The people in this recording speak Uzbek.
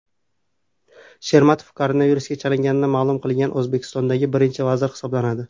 Shermatov koronavirusga chalingani ma’lum qilingan O‘zbekistondagi birinchi vazir hisoblanadi .